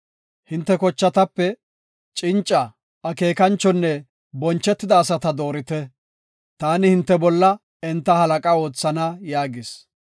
Hinte kochatape cinca, akeekanchonne bonchetida asata doorite; taani hinte bolla enta halaqa oothana” yaagis.